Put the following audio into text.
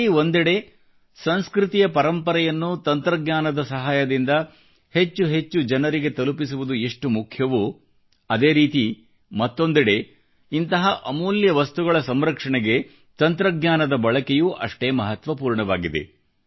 ಇಲ್ಲಿ ಒಂದೆಡೆ ಸಂಸ್ಕೃತಿಯ ಪರಂಪರೆಯನ್ನು ತಂತ್ರಜ್ಞಾನದ ಸಹಾಯದಿಂದ ಹೆಚ್ಚೆಚ್ಚು ಜನರಿಗೆ ತಲುಪಿಸುವುದು ಎಷ್ಟು ಮುಖ್ಯವೋ ಅದೇ ರೀತಿ ಮತ್ತೊಂದೆಡೆ ಇಂತಹ ಅಮೂಲ್ಯ ವಸ್ತುಗಳ ಸಂರಕ್ಷಣೆಗೆ ತಂತ್ರಜ್ಞಾನದ ಬಳಕೆಯೂ ಅಷ್ಟೇ ಮಹತ್ವಪೂರ್ಣವಾಗಿದೆ